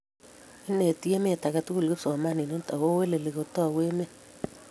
ineti emet aketukul kipsomaninik akobo weli kitoune emet